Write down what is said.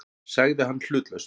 sagði hann hlutlaust.